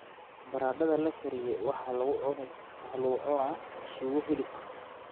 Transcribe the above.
Baradhada la kariyey waxaa lagu cunaa suugo hilib ah.